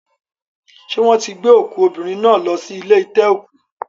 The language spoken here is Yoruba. Ṣé wọ́n ti gbé òkú obìnrin náà lọ sí ilé ite-oku